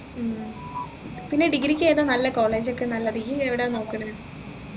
ഉം പിന്നെ degree ക്ക് ഏതാ നല്ല college ഒക്കെ നല്ലത് ഈ എവിടെയാ നോക്കുന്നെ